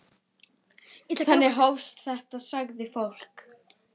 Þannig hófst þetta, sagði fólk.